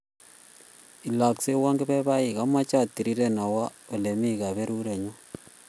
Ilakseywon kepebaik amache atiriren, awo olemi kaberuret nyu.